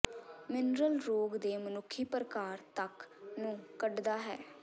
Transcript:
mineral ਰੋਗ ਦੇ ਮਨੁੱਖੀ ਪਰਕਾਰ ਤੱਕ ਨੂੰ ਕੱਢਦਾ ਹੈ